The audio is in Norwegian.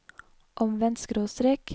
omvendt skråstrek